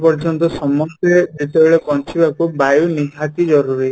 ପର୍ଯ୍ୟନ୍ତ ସମସ୍ତେ ଯେତେବେଳେ ବଞ୍ଚିବାକୁ ବାୟୁ ନିହାତି ଜରୁରୀ